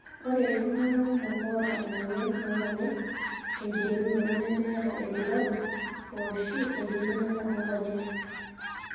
Ore iltungana kumok oota emoyian oonkonyek tenkiterunoto nemeeta ilbulabul ooshi enkiminata oonkonyek.